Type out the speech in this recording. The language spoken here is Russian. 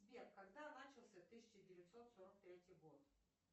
сбер когда начался тысяча девятьсот сорок третий год